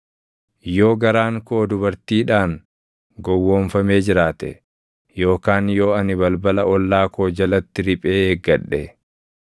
“Yoo garaan koo dubartiidhaan gowwoomfamee jiraate, yookaan yoo ani balbala ollaa koo jalatti riphee eeggadhe,